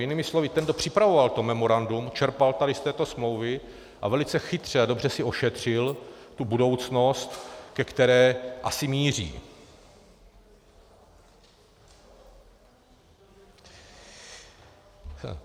Jinými slovy ten, kdo připravoval to memorandum, čerpal tady z této smlouvy a velice chytře a dobře si ošetřil tu budoucnost, ke které asi míří.